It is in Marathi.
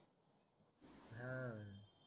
अह